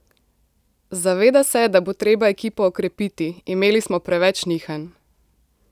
Zaveda se, da bo treba ekipo okrepiti: "Imeli smo preveč nihanj.